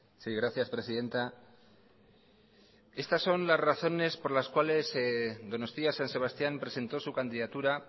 sí gracias presidenta estas son las razones por las cuales donostia san sebastián presentó su candidatura